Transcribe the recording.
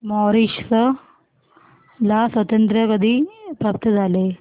Mauritius ला स्वातंत्र्य कधी प्राप्त झाले